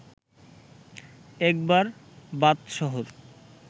একবার বাদশাহর